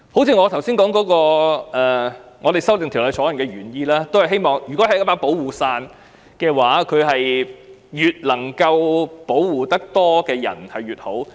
一如我們修正《條例草案》的原意，如果這是一把保護傘，能保護越多人越好。